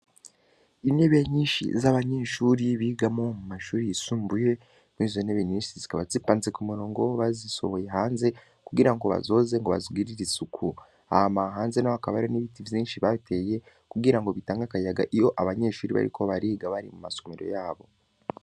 Intebe nyinshi z'abanyeshure bigamwo mu mashure yisumbuye, n'izo ntebe zikaba zipanze ku murongo w'abazisohoye hanze kugira ngo bazoze bazigirire isuku. Hama hanze hakaba hari ibiti vyinshi bateye kugira bitange akayaga iyo abanyeshuri bariko bariga bari mu masomero yabo.